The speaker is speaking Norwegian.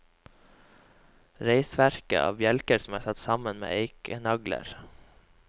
Reisverket er bjelker som er satt sammen med eikenagler.